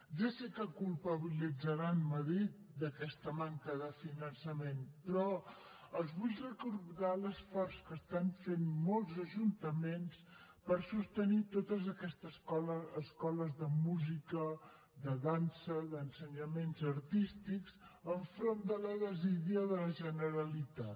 ja sé que culpabilitzaran madrid d’aquesta manca de finançament però els vull recordar l’esforç que estan fent molts ajuntaments per sostenir totes aquestes escoles de música de dansa d’ensenyaments artístics enfront de la desídia de la generalitat